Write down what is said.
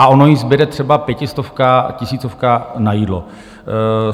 A ono jí zbude třeba pětistovka, tisícovka na jídlo.